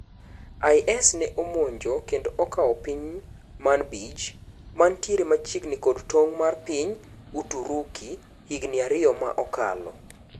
IS ne omonjo kendo okao piny Manbij mantiere machiegni kod tong' mar piny Uturuki higni ariyo ma okalo.